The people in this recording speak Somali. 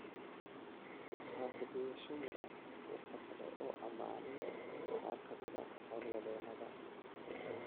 Waxaa ku dayasho mudan Waxa kale oo ammaanay qaar ka mid ah hawl-wadeennada.